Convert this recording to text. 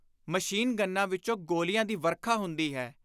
Machine ਗੰਨਾਂ ਵਿਚੋਂ ਗੋਲੀਆਂ ਦੀ ਵਰਖਾ ਹੁੰਦੀ ਹੈ।